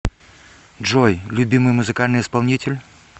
джой любимый музыкальный исполнитель